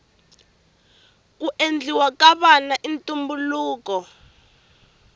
ku endliwa ka vana i ntumbuluko